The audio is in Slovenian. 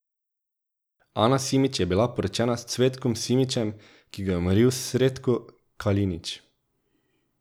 Ana Simić je bila poročena s Cvetkom Simićem, ki ga je umoril Sretko Kalinić.